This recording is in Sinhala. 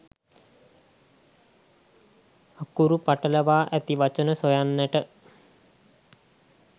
අකුරු පටලවා ඇති වචන සොයන්නට